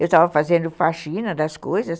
Eu estava fazendo faxina das coisas.